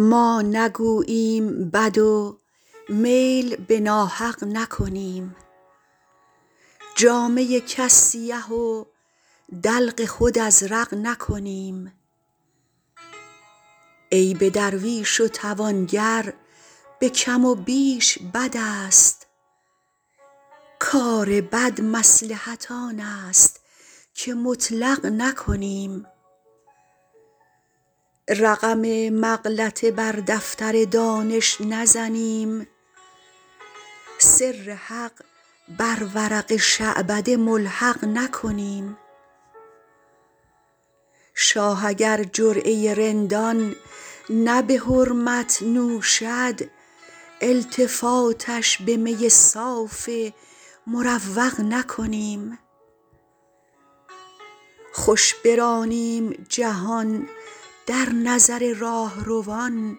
ما نگوییم بد و میل به ناحق نکنیم جامه کس سیه و دلق خود ازرق نکنیم عیب درویش و توانگر به کم و بیش بد است کار بد مصلحت آن است که مطلق نکنیم رقم مغلطه بر دفتر دانش نزنیم سر حق بر ورق شعبده ملحق نکنیم شاه اگر جرعه رندان نه به حرمت نوشد التفاتش به می صاف مروق نکنیم خوش برانیم جهان در نظر راهروان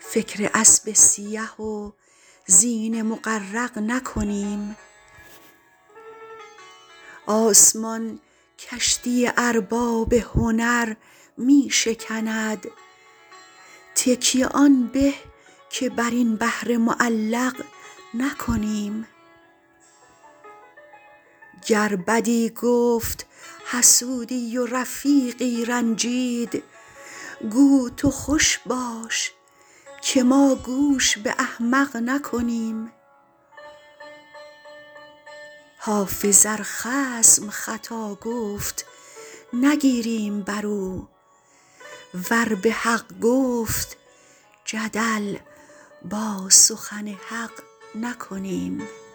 فکر اسب سیه و زین مغرق نکنیم آسمان کشتی ارباب هنر می شکند تکیه آن به که بر این بحر معلق نکنیم گر بدی گفت حسودی و رفیقی رنجید گو تو خوش باش که ما گوش به احمق نکنیم حافظ ار خصم خطا گفت نگیریم بر او ور به حق گفت جدل با سخن حق نکنیم